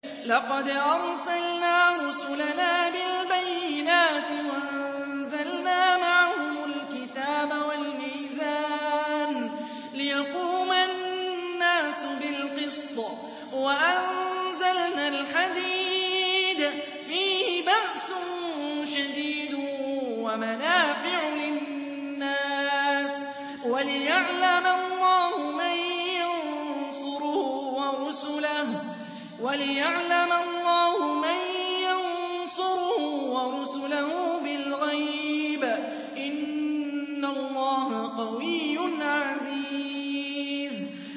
لَقَدْ أَرْسَلْنَا رُسُلَنَا بِالْبَيِّنَاتِ وَأَنزَلْنَا مَعَهُمُ الْكِتَابَ وَالْمِيزَانَ لِيَقُومَ النَّاسُ بِالْقِسْطِ ۖ وَأَنزَلْنَا الْحَدِيدَ فِيهِ بَأْسٌ شَدِيدٌ وَمَنَافِعُ لِلنَّاسِ وَلِيَعْلَمَ اللَّهُ مَن يَنصُرُهُ وَرُسُلَهُ بِالْغَيْبِ ۚ إِنَّ اللَّهَ قَوِيٌّ عَزِيزٌ